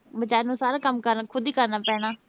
ਬੇਚਾਰੀ ਨੂੰ ਸਾਰਾ ਕੰਮ ਕਰਨਾ ਪੈ ਅਹ ਖੁਦ ਈ ਕਰਨਾ ਪੈਣਾ